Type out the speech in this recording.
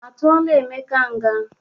A tụọla Emeka nga?